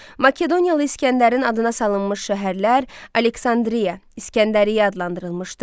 Makedoniyalı İsgəndərin adına salınmış şəhərlər Aleksandriya, İsgəndəriyyə adlandırılmışdı.